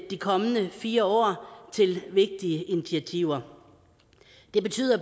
de kommende fire år til vigtige initiativer det betyder